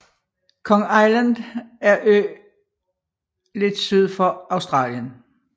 King Island er ø lidt syd for Australien